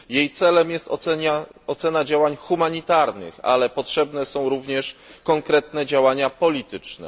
Jej celem jest ocena działań humanitarnych, ale potrzebne są również konkretne działania polityczne.